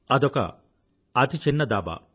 అదొక అతిచిన్న ధాబా